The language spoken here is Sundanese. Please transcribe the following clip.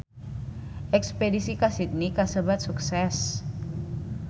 Espedisi ka Sydney kasebat sukses